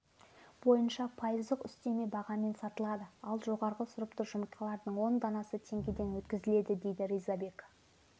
бойынша пайыздық үстеме бағамен сатылады ал жоғары сұрыпты жұмыртқалардың он данасы теңгеден өткізіледі дейді ризабек